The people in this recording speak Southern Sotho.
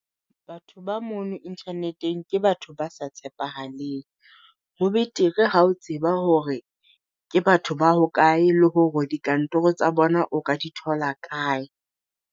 Batho ba mono internet-eng ke batho ba sa tshepahaleng. Ho betere ha o tseba hore ke batho ba hokae, le hore dikantoro tsa bona o ka di thola kae.